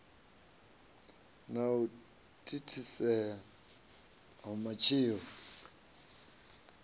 na u thithisea ha matshilo